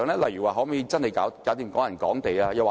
例如可否落實"港人港地"？